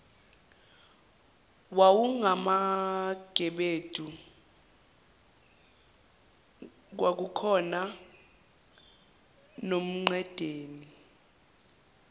wawungamagebedu kwakukhona nomqedeni